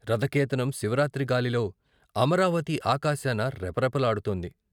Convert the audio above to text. రథకేతనం శివరాత్రి గాలిలో అమరావతి ఆకాశాన రెపరెప లాడుతోంది.